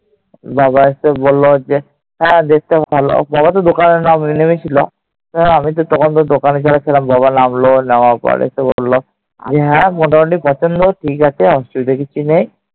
বাবা এসে বলল যে, হ্যাঁ দেখতে ভালো। বাবা তো দোকানে নেমেছিল। তো আমি তো তখন তো দোকানে ছিলাম। বাবা নামলো। নামার পরে তো বলল হ্যাঁ, মোটামুটি পছন্দ। ঠিক আছে। অসুবিধে কিছু নেই।